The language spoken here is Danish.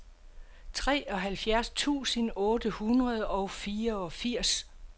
treoghalvtreds tusind otte hundrede og fireogfirs